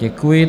Děkuji.